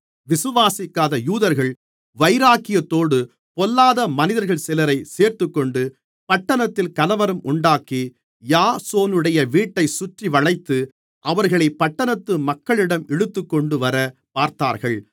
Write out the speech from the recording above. விசுவாசிக்காத யூதர்கள் வைராக்கியத்தோடு பொல்லாத மனிதர்கள் சிலரைச் சேர்த்துக்கொண்டு பட்டணத்தில் கலவரம் உண்டாக்கி யாசோனுடைய வீட்டைச் சுற்றிவளைத்து அவர்களைப் பட்டணத்து மக்களிடம் இழுத்துக்கொண்டுவரப் பார்த்தார்கள்